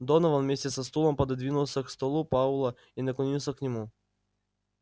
донован вместе со стулом пододвинулся к столу пауэлла и наклонился к нему